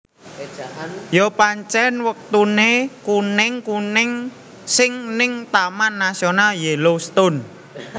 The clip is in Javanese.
Yo pancen watune kuning kuning sing ning Taman Nasional Yellowstone